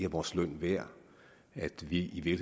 vores løn værd at vi i